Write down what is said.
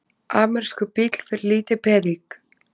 Amerískur bíll fyrir lítinn pening?